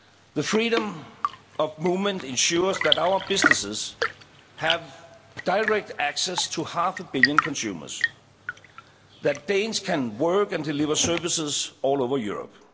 The freedom of movement ensures that our businesses have direct access to half a billion consumers and that Danes can work and deliver services all over Europe.